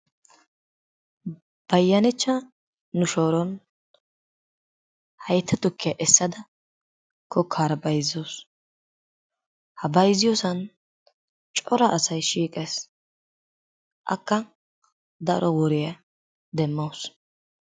bayanachcha nu shooron haytta tukkiyaa essada kookkaara bayzzawus. Ha bayzziyoosan cora asay shiiqqees. Akka daro woriyaa demmawus.